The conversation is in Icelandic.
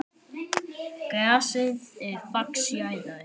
Grasið er fax jarðar.